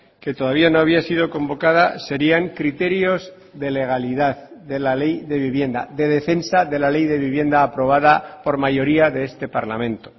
que todavía no había sido convocada serían criterios de legalidad de la ley de vivienda de defensa de la ley de vivienda aprobada por mayoría de este parlamento